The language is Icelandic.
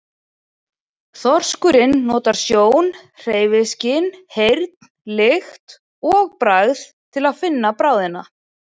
Þorskurinn notar sjón, hreyfiskyn, heyrn, lykt og bragð til að finna bráðina.